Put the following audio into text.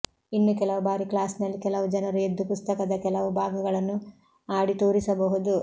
ಇನ್ನು ಕೆಲವು ಬಾರಿ ಕ್ಲಾಸಿನಲ್ಲಿ ಕೆಲವು ಜನರು ಎದ್ದು ಪುಸ್ತಕದ ಕೆಲವು ಭಾಗಗಳನ್ನು ಆಡಿ ತೋರಿಸಬಹುದು